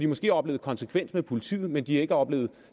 måske oplevet konsekvens hos politiet men de har ikke oplevet